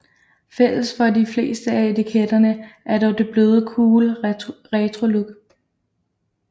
Fælles for de fleste af etiketterne er dog det bløde cool retrolook